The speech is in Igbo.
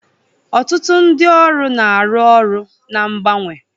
Ọtụtụ ndị ọrụ na-arụ ọrụ na mgbanwe